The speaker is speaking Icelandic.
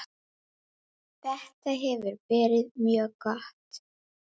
Þetta hefur verið mjög gott.